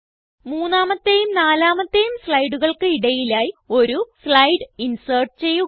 മൂന്നാമത്തേയും നാലാമത്തേയും സ്ലൈഡുകൾക്ക് ഇടയിലായി ഒരു സ്ലൈഡ് ഇൻസെർട്ട് ചെയ്യുക